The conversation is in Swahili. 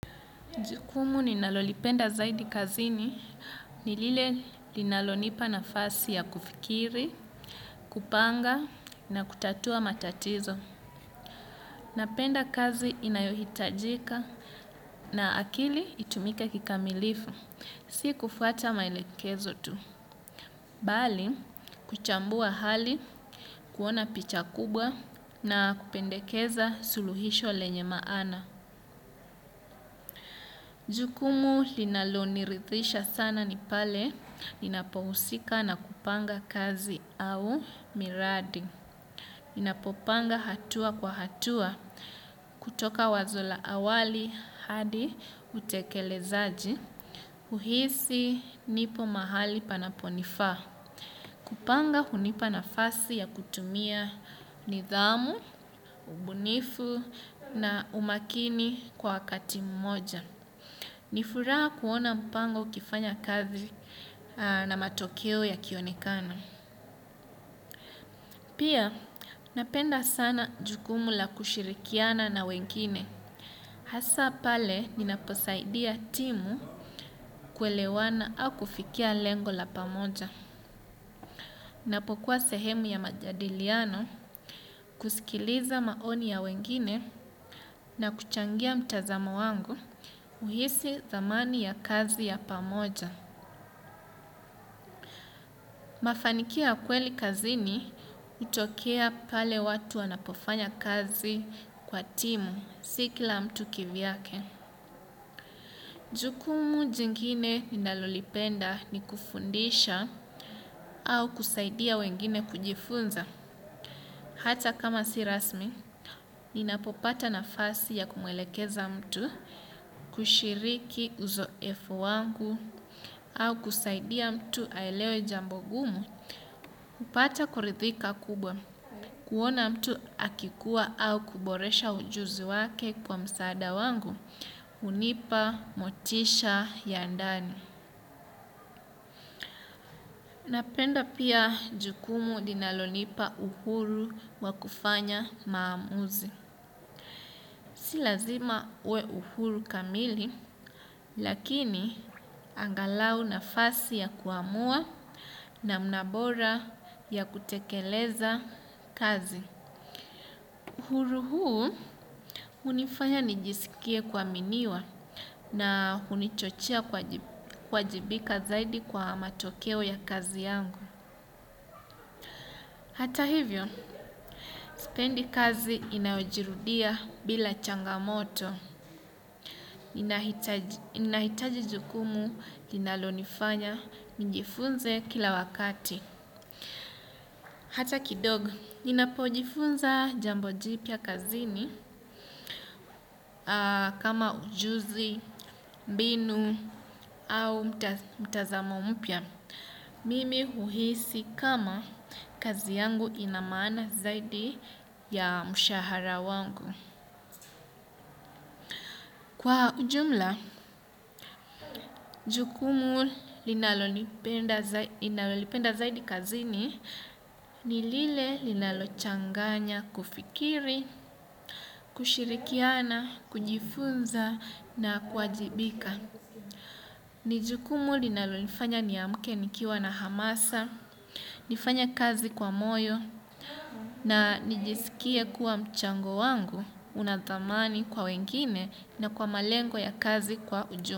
Jukumu ninalolipenda zaidi kazini ni lile linalonipa nafasi ya kufikiri kupanga na kutatua matatizo. Napenda kazi inayohitajika na akili itumike kikamilifu si kufuata maelekezo tu. Bali kuchambua hali kuona picha kubwa na kupendekeza suluhisho lenye maana. Jukumu linalo nirithisha sana ni pale ninapo husika na kupanga kazi au miradi. Ninapo panga hatua kwa hatua kutoka wazo la awali hadi utekelezaji huhisi nipo mahali panapo nifaa. Kupanga hunipa nafasi ya kutumia nidhamu ubunifu na umakini kwa wakati mmoja. Ni furaha kuona mpango ukifanya kazi na matokeo yakionekana. Pia napenda sana jukumu la kushirikiana na wengine. Hasa pale ninaposaidia timu kuelewana au kufikia lengo la pamoja. Ninapokuwa sehemu ya majadiliano kusikiliza maoni ya wengine na kuchangia mtazamo wangu huhisi thamani ya kazi ya pamoja. Mafanikio ya kweli kazini hutokea pale watu wanapofanya kazi kwa timu si kila mtu ki vyake. Jukumu jingine ninalolipenda ni kufundisha au kusaidia wengine kujifunza. Hata kama si rasmi ninapopata nafasi ya kumuelekeza mtu kushiriki uzoefu wangu au kusaidia mtu aelewe jambo gumu hupata kuridhika kubwa. Kuona mtu akikuwa au kuboresha ujuzi wake kwa msaada wangu hunipa motisha ya ndani. Napenda pia jukumu linalonipa uhuru wa kufanya maamuzi. Si lazima uwe uhuru kamili lakini angalau nafasi ya kuamua namna bora ya kutekeleza kazi. Uhuru huu hunifanya nijisikie kuaminiwa na hunichochea kuajibika zaidi kwa matokeo ya kazi yangu. Hata hivyo sipendi kazi inayojirudia bila changamoto. Ninahitaji jukumu linalonifanya njifunze kila wakati. Hata kidogo ninapojifunza jambo jipya kazini kama ujuzi mbinu au mtazamo mpya. Mimi huhisi kama kazi yangu ina maana zaidi ya mshahara wangu. Kwa ujumla jukumu ninalolipenda zaidi kazini ni lile linalochanganya kufikiri kushirikiana kujifunza na kuajibika. Ni jukumu linalo nifanya niamke nikiwa na hamasa nifanya kazi kwa moyo na nijisikie kuwa mchango wangu una thamani kwa wengine na kwa malengo ya kazi kwa ujumla.